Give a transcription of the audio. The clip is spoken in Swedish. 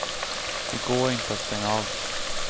Det går inte att stänga av.